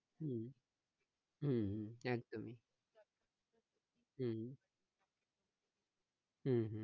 হম হম হম একদমই হম হম হম